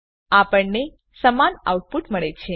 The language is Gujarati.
આપણને સમાન આઉટપુટ મળે છે